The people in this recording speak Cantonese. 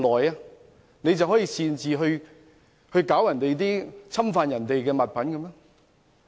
他可以擅自侵犯別人的物品嗎？